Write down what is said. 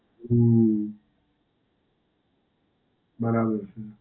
હમ્મ. બરાબર છે.